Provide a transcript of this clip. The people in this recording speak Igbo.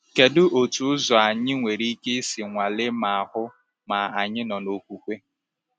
Kedu otu ụzọ anyị nwere ike isi nwalee ma hụ ma anyị nọ n’okwukwe?